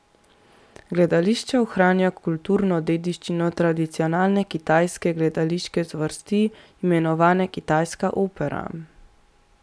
Gledališče ohranja kulturno dediščino tradicionalne kitajske gledališke zvrsti, imenovane kitajska opera.